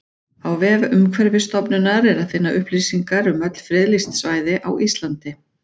Á vef Umhverfisstofnunar er að finna upplýsingar um öll friðlýst svæði á Íslandi.